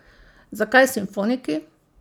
Zakaj simfoniki?